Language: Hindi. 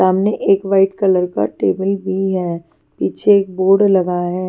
सामने एक वाइट कलर का टेबल भी है पीछे एक बोर्ड लगा है।